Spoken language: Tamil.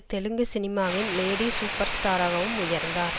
தெலுங்கு சினிமாவின் லேடி சூப்பர் ஸ்டாராகவும் உயர்ந்தார்